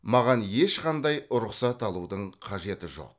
маған ешқандай рұқсат алудың қажеті жоқ